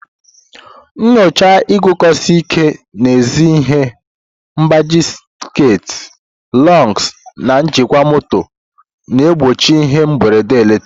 Nyochaa iguzosi ike n'ezi ihe mgbaji sekit, lugs, na njikwa moto na-egbochi ihe mberede eletrik.